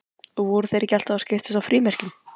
Og voru þeir ekki alltaf að skiptast á frímerkjum?